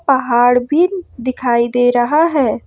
पहाड़ भी दिखाई दे रहा है।